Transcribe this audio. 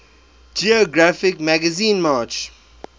geographic magazine march